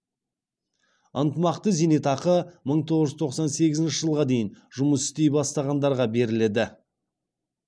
ынтымақты зейнетақы мың тоғыз жүз тоқсан сегізінші жылға дейін жұмыс істей бастағандарға беріледі